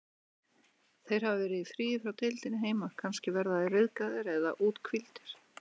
Þeir hafa verið í fríi frá deildinni heima, kannski verða þeir ryðgaðir eða úthvíldir.